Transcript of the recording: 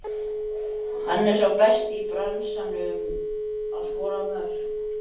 Hann er sá besti í bransanum að skora mörk.